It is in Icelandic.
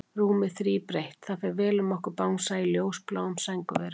Rúmið þríbreitt, það fer vel um okkur Bangsa, í ljósbláum sængurverum.